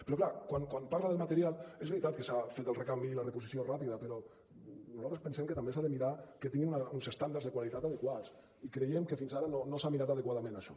però clar quan parla del material és veritat que se n’ha fet el recanvi i la reposició ràpida però nosaltres pensem que també s’ha de mirar que tinguin uns estàndards de qualitat adequats i creiem que fins ara no s’ha mirat adequadament això